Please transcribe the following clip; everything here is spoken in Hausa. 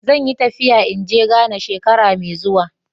Zan yi tafiya in ge Ghana shekara mai zuwa.